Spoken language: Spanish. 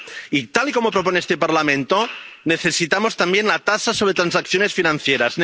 Y, tal y como propone este Parlamento, necesitamos también la tasa sobre transacciones financieras.